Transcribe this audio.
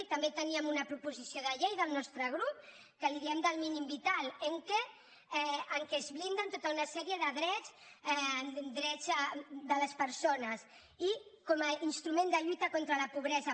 i també teníem una proposició de llei del nostre grup que li diem del mínim vital en què es blinden tota una sèrie de drets drets de les persones i com a instrument de lluita contra la pobresa